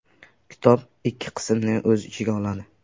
Kitob ikki qismni o‘z ichiga oladi.